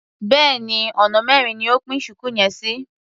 Béèni ọ̀nà mẹ́rin ni o pín ṣùkú yẹn sí.